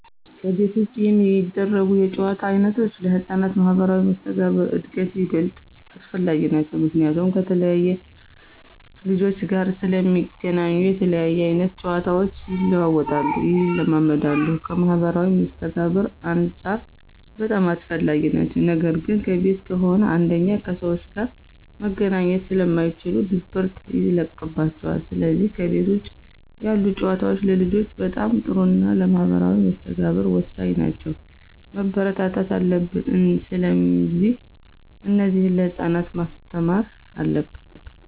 ከቤት ውጭ የሚደረጉ የጨዋታ ዓይነቶች ለሕፃናት ማኅበራዊ መስተጋብር እድገት ይበልጥ አስፈላጊ ናቸዉ። ምክንያቱም ከተለያየ ልጆች ጋር ስለሚገናኙ የተለያየ አይነት ጨዋታቸው ይለዋወጣሉ፣ ይለማመዳሉ ከማህበራዊ መስተጋብርም አንፃር በጣም አስፈላጊ ናቸው ነገር ግን ከቤት ከሆነ አንደኛ ከሰዎች ጋር መገናኘት ስለማይችሉ ድብርት ይለቅባቸዋል ስለዚህ ከቤት ውጭ ያሉ ጨዋታዎች ለልጆች በጣም ጥሩና ለማህበራዊ መስተጋብር ወሳኝ ናቸው፣ መበረታታት አለብን። ስለዚህ እነዚህን ለህፃናት ማስተማር አለብን።